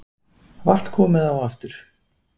Vatn komið á aftur